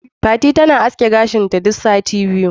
Fati tana aske gashinta duk sati biyu.